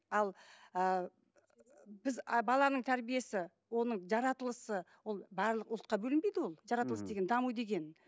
ал ыыы біз ы баланың тәрбиесі оның жаратылысы ол барлық ұлтқа бөлінбейді ол жаратылыс деген даму деген